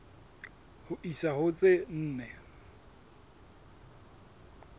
ho isa ho tse nne